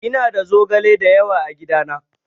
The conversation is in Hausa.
Ina da zogale dayawa a gidana.